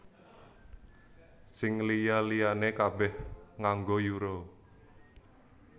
Sing liya liyané kabèh nganggo Euro